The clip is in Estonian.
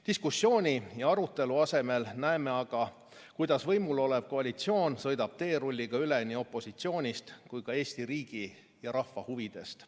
Diskussiooni ja arutelu asemel näeme aga, kuidas võimul olev koalitsioon sõidab teerulliga üle nii opositsioonist kui ka Eesti riigi ja rahva huvidest.